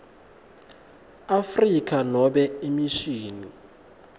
afrika nobe imishini